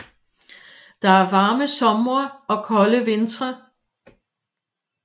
Der er varme somre og kolde vintre